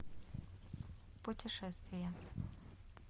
путешествия